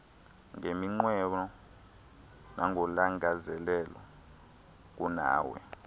ngeminqweno nangolangazelelo kunawe